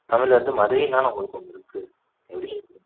தமிழ் வந்து மதுரையும் தானே உங்களுக்கு ஒண்ணு இருக்கு